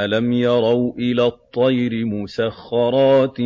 أَلَمْ يَرَوْا إِلَى الطَّيْرِ مُسَخَّرَاتٍ